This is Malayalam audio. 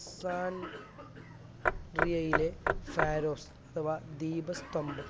അലക്സാ ട്രിയ്യയിലെ ഫാരോഫ് അഥവാ ദീപസ്തംഭം